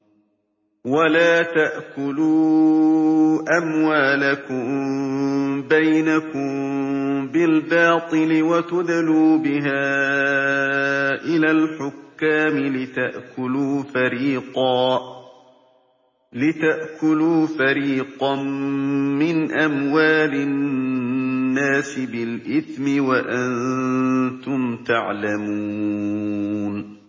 وَلَا تَأْكُلُوا أَمْوَالَكُم بَيْنَكُم بِالْبَاطِلِ وَتُدْلُوا بِهَا إِلَى الْحُكَّامِ لِتَأْكُلُوا فَرِيقًا مِّنْ أَمْوَالِ النَّاسِ بِالْإِثْمِ وَأَنتُمْ تَعْلَمُونَ